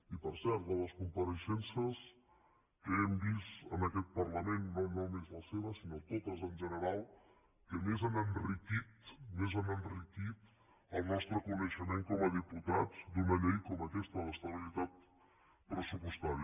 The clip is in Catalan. i per cert de les compareixences que hem vist en aquest parlament no només la seva sinó totes en general que més han enriquit més han enriquit el nostre coneixement com a diputats d’una llei com aquesta d’estabilitat pressupostària